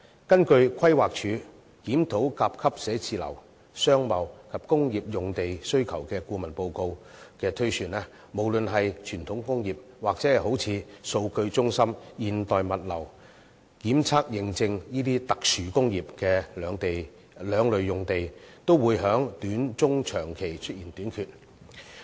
根據規劃署的《檢討甲級寫字樓、商貿及工業用地的需求》顧問報告推算，無論是傳統工業或數據中心、現代物流、檢測認證這些特殊工業的兩類用地，都會在短中長期出現短缺。